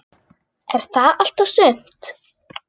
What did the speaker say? Er það allt og sumt?